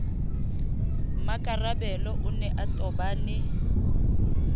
mmakarabelo o ne a tobane